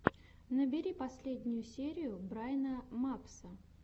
набери последнюю серию брайна мапса